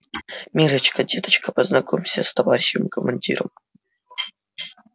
миррочка деточка познакомься с товарищем командиром